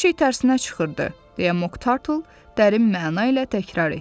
Hər şey tərsinə çıxırdı, deyə Moq Tartle dərin məna ilə təkrar etdi.